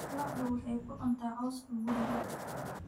Lo'du waxay ku cuntaa cawska guriga